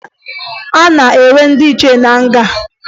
A na-enwe ndị nche na nga